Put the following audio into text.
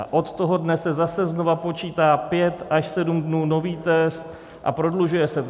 A od toho dne se zase znova počítá pět až sedm dnů nový test a prodlužuje se to.